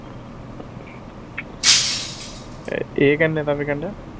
ਅਹ ਇਹ ਕਿੰਨੇ ਕਿ ਦਾ ਵਿਕਣ ਦਿਆ?